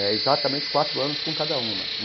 É. Exatamente quatro anos com cada uma.